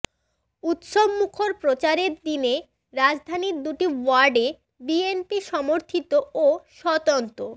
উৎসবমুখর প্রচারের দিনে রাজধানীর দুটি ওয়ার্ডে বিএনপি সমর্থিত ও স্বতন্ত্র